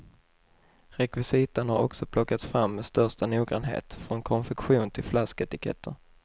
Rekvisitan har också plockats fram med största noggrannhet, från konfektion till flasketiketter.